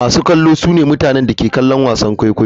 Masu kallo sune mutane da suke kallon wasan kwaikwayo.